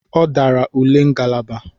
Ọ dara ule ngalaba.